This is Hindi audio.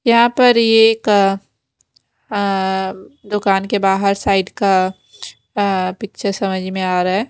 यहाँ पर ये एक अ अ दुकान के बाहर साइड का पिक्चर समझ में आ रहा है --